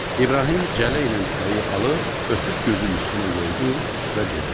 İbrahim cələ ilə tütəyi alıb, öpüb gözünün üstünə qoydu və dedi: